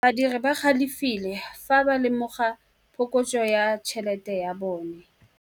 Badiri ba galefile fa ba lemoga phokotsô ya tšhelête ya bone.